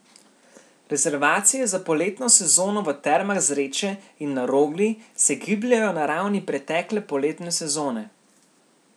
Rezervacije za poletno sezono v Termah Zreče in na Rogli se gibljejo na ravni pretekle poletne sezone.